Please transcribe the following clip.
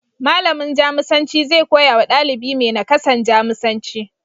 Malamin Jamusanci zai koyawa ɗalibi mai nakasan, Jamusanci.